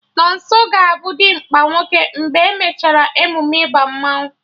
Nonso ga-abụ dimkpa nwoke mgbe e mechara emume ịba mmanụ